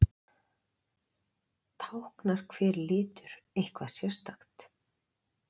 Táknar hver litur eitthvað sérstakt?